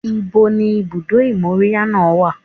Ibo ni ibùdó ìmóríyá náà wà?